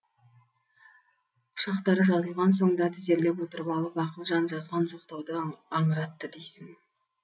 құшақтары жазылған соң да тізерлеп отырып алып ақылжан жазған жоқтауды аңыратты дейсің